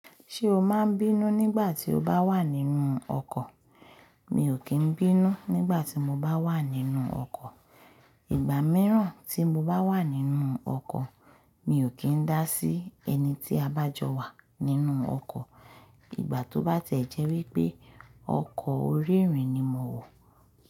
Ṣé o máa ń bínú nígbà tí o bá wà nínú ọkọ̀? Mi ò kí ń bínú nígbà tí mo bá wà nínú ọkọ̀. Ìgbà mìíràn tí mo bá wà nínú ọkọ̀, mi ò kí ń dá sí ẹni tí a bá jọ wà nínú ọkọ̀. Ìgbà tó bá tiẹ̀ jẹ́ wípé ọkọ̀ óri irìn ni mo wò.